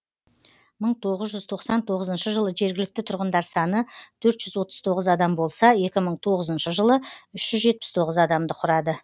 мың тоғыз жүз тоқсан тоғызыншы жылы жергілікті тұрғындар саны төрт жүз отыз тоғыз адам болса екі мың тоғызыншы жылы үш жүз жетпіс тоғыз адамды құрады